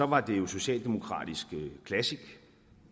var det jo socialdemokratisk classic